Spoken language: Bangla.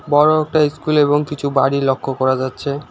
বড় একটা ইস্কুল এবং কিছু বাড়ি লক্ষ করা যাচ্ছে।